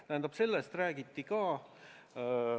Tähendab, sellest räägiti ka.